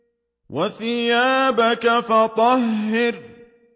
وَثِيَابَكَ فَطَهِّرْ